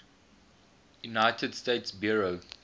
united states bureau